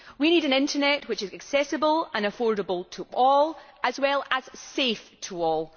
We need an internet which is accessible and affordable to all, as well as safe to all.